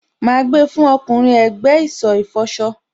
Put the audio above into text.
Má gbà fún ọkùnrin ẹ̀gbẹ́ ìsọ̀ ìfọṣọ.